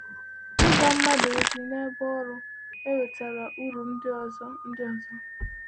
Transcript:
Ịgwa mmadụ ozi n’ebe ọrụ ewetaara uru ndị ọzọ. ndị ọzọ.